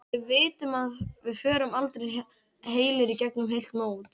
Við vitum að við förum aldrei heilir í gegnum heilt mót.